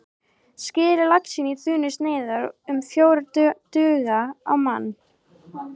Skerið laxinn í þunnar sneiðar, um fjórar duga á mann.